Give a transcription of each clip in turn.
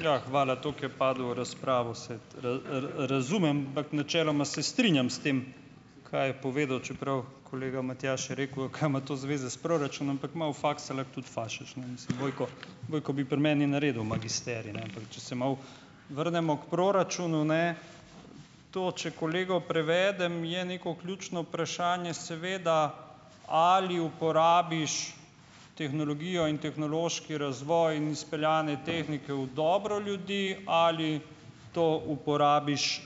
Ja, hvala. Tako je padel v razpravo, razumem, ampak načeloma se strinjam s tem, kaj je povedal, čeprav kolega Matjaž je rekel: "A kaj ima to zveze s proračunom?" Ampak malo faksa l tudi fašeš, ne, mislim Vojko. Vojko bi pri meni naredil magisterij, ne. Ampak če se malo vrnemo k proračunu, ne. To če kolegu prevedem, je neko ključno vprašanje seveda, ali uporabiš tehnologijo in tehnološki razvoj in izpeljane tehnike v dobro ljudi ali to uporabiš,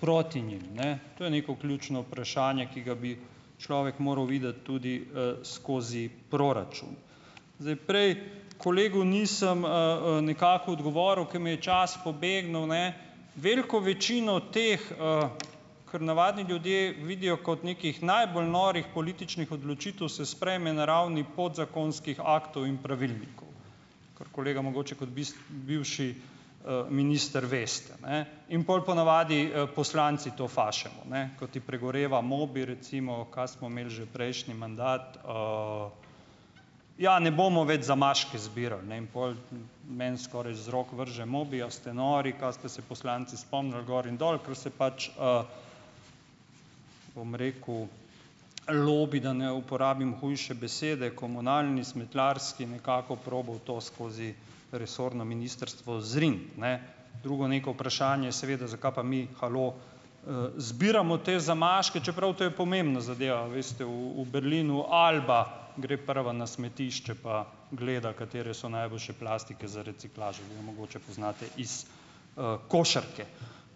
proti njim, ne. To je neko ključno vprašanje, ki ga bi človek moral videti tudi, skozi proračun. Zdaj, prej kolegu nisem, nekako odgovoril, ker mi je čas pobegnil, ne. Veliko večino teh, kar navadni ljudje vidijo kot nekih najbolj norih političnih odločitev, se sprejme na ravni podzakonskih aktov in pravilnikov, kar kolega mogoče kot bivši, minister veste, ne. In pol po navadi, poslanci to fašemo, ne, ko ti pregoreva mobi recimo, kaj smo imeli že prejšnji mandat? Ja, ne bomo več zamaške zbirali, ne in pol meni skoraj z rok vrže mobi. A ste nori? Kaj ste se poslanci spomnili? Gor in dol, ker se pač, bom rekel lobi, da ne uporabim hujše besede, komunalni, smetarski, nekako probal to skozi resorno ministrstvo zriniti, ne. Drugo neko vprašanje, seveda: "Zakaj pa mi, halo, zbiramo te zamaške?" Čeprav to je pomembna zadeva, veste, v Berlinu Alba gre prva na smetišče pa gleda, katere so najboljše plastike za reciklažo, vi jo mogoče poznate iz, košarke.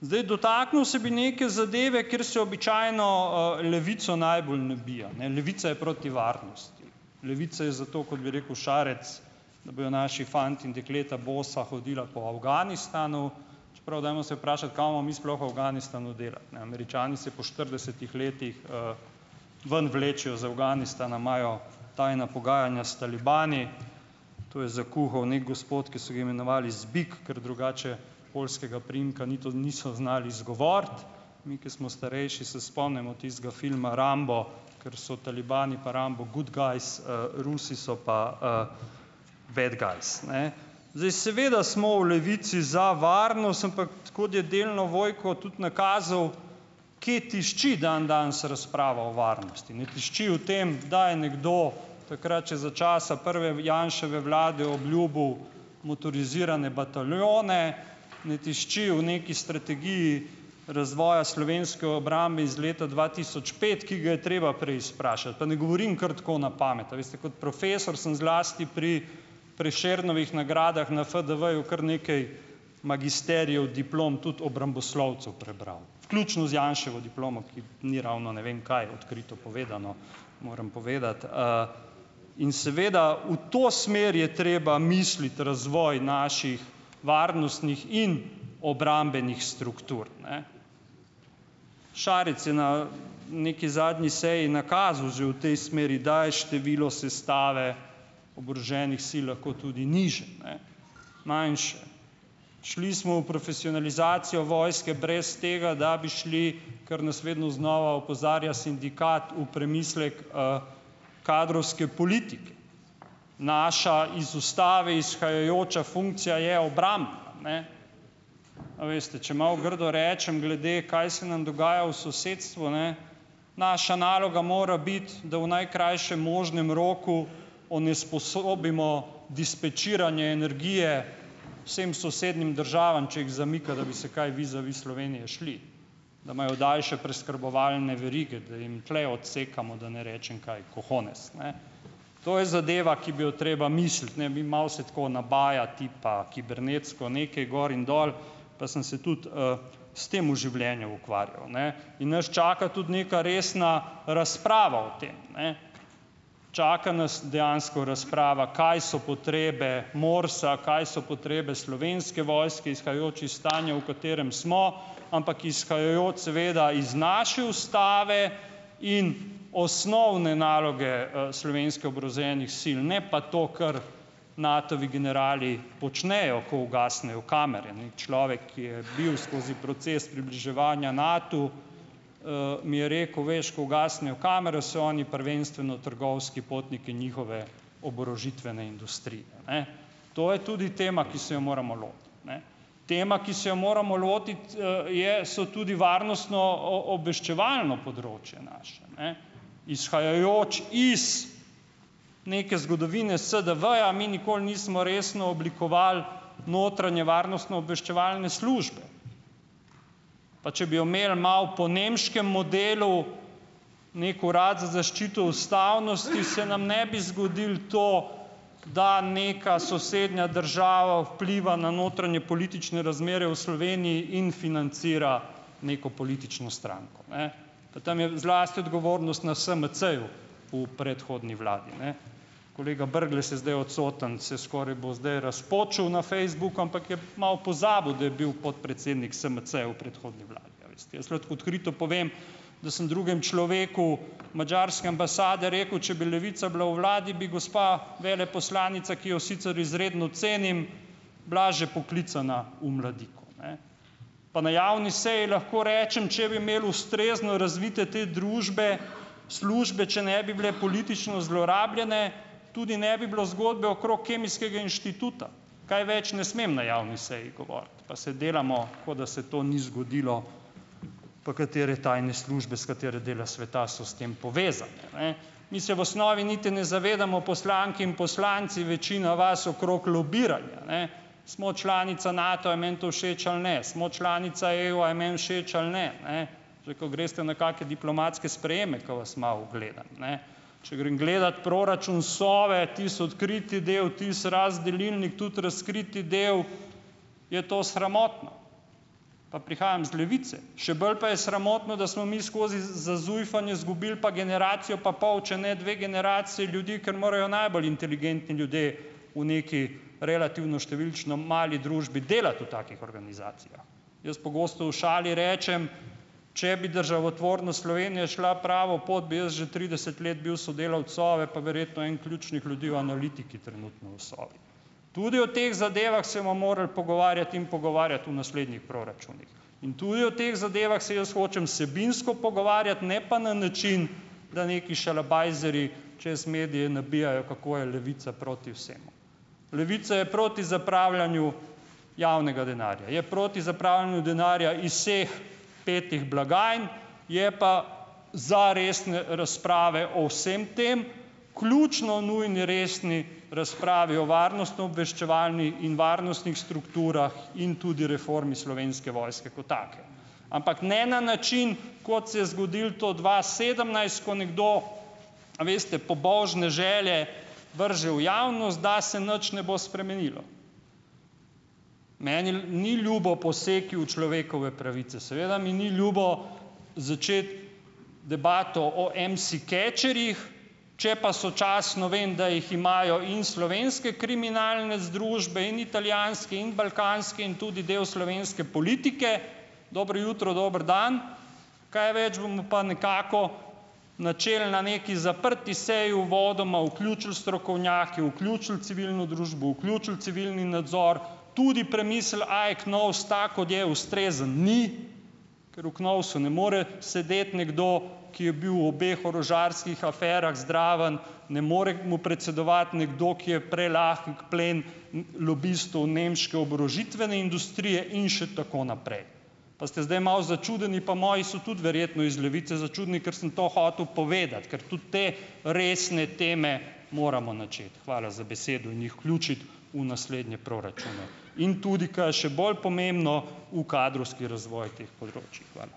Zdaj, dotaknil se bi neke zadeve, kjer se običajno Levico, najbolj nabija, ne. Levica je proti varnosti. Levica je za to, kot bi rekel Šarec, da bojo naši fantje in dekleta bosa hodila po Afganistanu, čeprav dajmo se vprašati, kaj bomo mi sploh v Afganistanu delali? Ne, Američani se po štiridesetih letih, ven vlečejo iz Afganistana, imajo tajna pogajanja s talibani, to je zakuhal neki gospod, ki so ga imenovali Zbik, ker drugače poljskega priimka niti niso znali izgovoriti. Mi, ke smo starejši, se spomnimo tistega filma Rambo, ker so talibani pa Rambo good guys, Rusi so pa bad guys. Zdaj, seveda smo v Levici za varnost, ampak kot je delno Vojko tudi nakazal, kje tišči dandanes razprava o varnosti. Ne tišči v tem, da je nekdo takrat še za časa prve Janševe vlade obljubil motorizirane bataljone, ne tišči v nekaj strategiji razvoja slovenske obrambe iz leta dva tisoč pet, ki ga je treba preizprašati. Pa ne govorim kar tako na pamet, a veste, kot profesor sem zlasti pri Prešernovih nagradah na FDV-ju kar nekaj magisterijev, diplom, tudi obramboslovcev prebral, vključno z Janševo diplomo, ki ni ravno ne vem kaj, odkrito povedano, moram povedati, In seveda, v to smer je treba misliti, razvoj naših varnostnih in obrambnih struktur, ne. Šarec je na neki zadnji seji nakazal že v tej smeri, da je število sestave oboroženih sil lahko tudi nižje, ne, manjše. Šli smo v profesionalizacijo vojske brez tega, da bi šli, kar nas vedno znova opozarja sindikat, v premislek, kadrovske politike. Naša iz ustave izhajajoča funkcija je obrambna, ne, a veste. Če malo grdo rečem glede, kaj se nam dogaja v sosedstvu, naša naloga mora biti, da v najkrajšem možnem roku onesposobimo dispečiranje energije vsem sosednjim državam, če jih zamika, da bi se kaj vizavi Slovenije šli, da imajo daljše preskrbovalne verige, da jim tule odsekamo, da ne rečem kaj, cojones, ne. To je zadeva, ki bi jo treba misliti, ne. Mi malo se tako nabaja tipa kibernetsko nekaj gor in dol, pa sem se tudi, s tem v življenju ukvarjal, ne ... In nas čaka tudi neka resna razprava o tem, ne. Čaka nas dejansko razprava, kaj so potrebe MORS-a, kaj so potrebe Slovenske vojske, izhajajoč iz stanja, v katerem smo, ampak izhajajoč seveda iz naše ustave in osnovne naloge, slovenskih oboroženih sil, ne pa to, kar Natovi generali počnejo, ko ugasnejo kamere, ne. Človek, ki je bil skozi proces približevanja Natu, mi je rekel, veš, ko ugasnejo kamere, so oni prvenstveno trgovski potniki njihove oborožitvene industrije, ne. To je tudi tema, ki se je moramo lotiti, ne. Tema, ki se je moramo lotiti, je, so tudi varnostno obveščevalno področje naše, ne, izhajajoč iz neke zgodovine SDV-ja mi nikoli nismo resno oblikovali notranje varnostnoobveščevalne službe. Pa če bi jo imeli malo po nemškem modelu, neki urad za zaščito ustavnosti, se nam ne bi zgodilo to, da nekaj sosednja država vpliva na notranjepolitične razmere v Sloveniji in financira neko politično stranko, ne. Pa tam je zlasti odgovornost na SMC-ju v predhodni vladi. Kolega Brglez je zdaj odsoten, se skoraj bo zdaj razpočil na Facebooku, ampak je malo pozabil, da je bil podpredsednik SMC-ja v predhodni vladi, a veste. Jaz lahko odkrito povem, da sem drugem človeku madžarske ambasade rekel, če bi Levica bila v vladi, bi gospa veleposlanica, ki jo sicer izredno cenim, bila že poklicana v Mladiko, ne. Pa na javni seji lahko rečem, če bi imeli ustrezno razvite te družbe, službe, če ne bi bile politično zlorabljene, tudi ne bi bilo zgodbe okrog Kemijskega inštituta, kaj več ne smem na javni seji govoriti, pa se delamo, kot da se to ni zgodilo, pa katere tajne službe, s katerega dela sveta so s tem povezane, ne. Mi se v osnovi niti ne zavedamo, poslanke in poslanci, večina vas okrog lobiranja, ne. Smo članica Nata, a meni to všeč ali ne. Smo članica EU, a je meni všeč ali ne, ne. Lahko greste na kake diplomatske sprejeme, ko vas malo gledam, ne. Če grem gledat proračun Sove, tisti odkriti del, tisti razdelilni tudi razkriti del, je to sramotno, pa prihajam iz Levice. Še bolj pa je sramotno, da smo mi skozi zujfanje izgubili pa generacijo pa pol, če ne dve generaciji ljudi, ker morajo najbolj inteligentni ljudje v neki relativno številčno mali družbi delati v takih organizacijah. Jaz pogosto v šali rečem, če bi državotvornost Slovenije šla pravo pot, bi jaz že trideset let bil sodelavec Sove, pa verjetno en ključnih ljudi v analitiki trenutno v Sovi. Tudi o teh zadevah se bomo morali pogovarjati in pogovarjati v naslednjih proračunih. In tudi o teh zadevah se jaz hočem vsebinsko pogovarjati, ne pa na način, da neki šalabajzerji čez medije nabijajo, kako je Levica proti vsemu. Levica je proti zapravljanju javnega denarja, je proti zapravljanju denarja iz vseh petih blagajn, je pa za resne razprave o vsem tem, ključno nujni resni razpravi o varnostnoobveščevalni in varnostnih strukturah in tudi reformi Slovenske vojske ko take, ampak ne na način, kot se je zgodilo to dva sedemnajst, ko nekdo, a veste, pobožne želje vrže v javnost, da se nič ne bo spremenilo. Meni ni ljubo posegi v človekove pravice, seveda mi ni ljubo začeti debato o IMSI-catcherjih, če pa sočasno vem, da jih imajo in slovenske kriminalne združbe in italijanske in balkanske in tudi del slovenske politike, dobro jutro, dober dan, kaj več bomo pa nekako načeli na neki zaprti seji, uvodoma vključili strokovnjake, vključili civilno družbo, vključili civilni nadzor, tudi premislili, ali je KNOVS tak, kot je, ustrezen ni, ker v KNOVS-u ne more sedeti nekdo, ki je bil v obeh orožarskih aferah zraven, ne more mu predsedovati nekdo, ki je prelahek plen lobistu nemške oborožitvene industrije in še tako naprej. Pa ste zdaj malo začudeni, pa moji so tudi verjetno, iz Levice, začudeni, ker sem to hotel povedati, ker tudi te resne teme moramo načeti, hvala za besedo, in jih vključiti v naslednje proračune in tudi, kaj je še bolj pomembno, v kadrovski razvoj teh področij, hvala.